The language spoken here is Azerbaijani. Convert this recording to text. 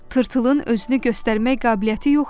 Tırtılın özünü göstərmək qabiliyyəti yox idi.